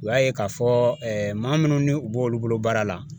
U y'a ye k'a fɔ maa minnu ni u b'olu bolo baara la.